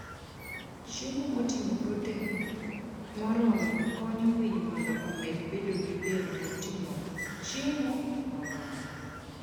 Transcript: Chiemo moting'o protein moromo konyo winy mondo omed bedo gi del moting'o chiemo moromo.